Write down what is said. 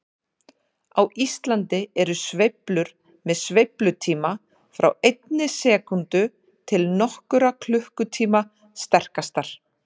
Á Íslandi eru sveiflur með sveiflutíma frá einni sekúndu til nokkurra klukkutíma sterkastar.